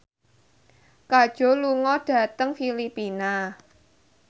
Kajol lunga dhateng Filipina